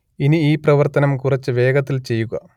ഇനി ഈ പ്രവർത്തനം കുറച്ചു വേഗത്തിൽ ചെയ്യുക